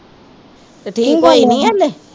ਤੇ ਠੀਕ ਹੋਈ ਨਹੀਂ ਹਲੇ